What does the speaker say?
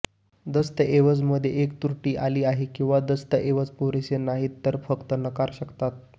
दस्तऐवज मध्ये एक त्रुटी आली आहे किंवा दस्तऐवज पुरेसे नाहीत तर फक्त नकार शकतात